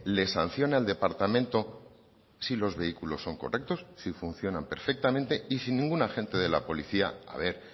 les sanciona el departamento si los vehículos son correctos si funcionan perfectamente y si ningún agente de la policía a ver